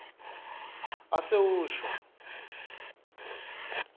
asewusho